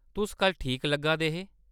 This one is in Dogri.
तुस कल्ल ठीक लग्गा दे हे।